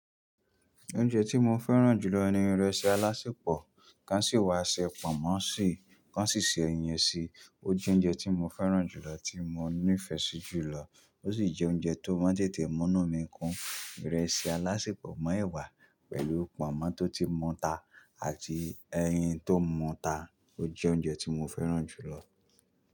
Oúnjẹ tí mo fẹ́ràn jù lọ ni ìrẹsì alásèpọ̀. Kán ṣì wá ṣe pọ̀nmọ́ ṣì, kán sì se ẹyin ṣì. Ojẹ ounjẹ ti mo fẹran julọ, ti mo ni ifẹ si julọ. Ó sì jẹ́ oúnjẹ tó máa ń tètè mú nu mí kún. Ìrẹsì alásèpọ̀ mọ́ èwà pẹ̀lú pọ̀nmọ́ tó ti mu ta àti ẹyin tó mú ta. Ó jẹ́ oúnjẹ tí mo fẹ́ràn jù lọ.